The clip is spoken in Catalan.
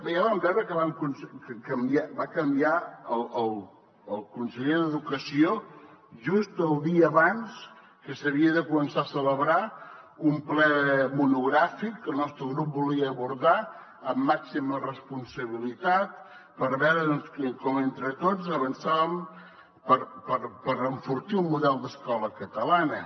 ja vam veure que va canviar el conseller d’educació just el dia abans que s’havia de començar a celebrar un ple monogràfic que el nostre grup volia abordar amb màxima responsabilitat per veure com entre tots avançàvem per enfortir el model d’escola catalana